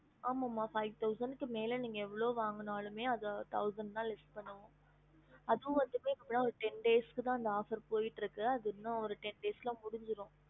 ஆமா ம five thousand மேல எவ்ளோ வாங்குனாலு thousand discount வரும் அதுவும் வந்துட்டு ten days போயிட்டு இருக்கு அதுவும் ten days முடிஞ்சிரும்